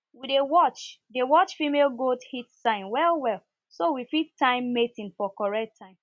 we dey watch dey watch female goats heat signs well well so we fit time mating for correct time